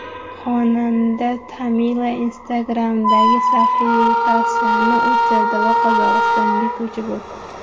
Xonanda Tamila Instagram’dagi sahifasini o‘chirdi va Qozog‘istonga ko‘chib o‘tdi.